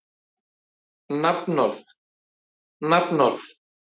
Þórhildur: Er fólk að koma hingað gagngert til að fara í hvalaskoðun?